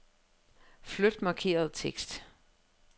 Flyt markerede tekst.